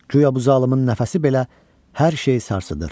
Guya bu zalımın nəfəsi belə hər şeyi sarsıdır.